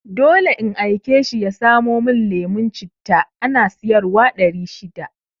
Dole in aike shi ya samo mun lemon citta, ana sayar wa ɗari shida